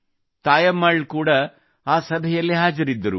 ತಾಯಮ್ಮಾಳ್ ಕೂಡಾ ಆ ಸಭೆಯಲ್ಲಿ ಹಾಜರಿದ್ದರು